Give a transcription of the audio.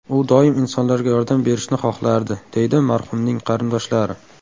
U doim insonlarga yordam berishni xohlardi”, deydi marhumning qarindoshlari.